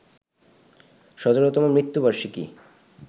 ১৭তম মৃত্যুবার্ষিকী